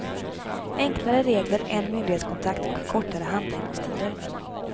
Enklare regler, en myndighetskontakt och kortare handläggningstider.